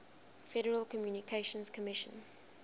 federal communications commission